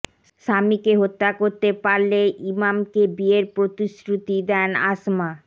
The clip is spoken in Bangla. স্বামীকে হত্যা করতে পারলে ইমামকে বিয়ের প্রতিশ্রুতি দেন আসমা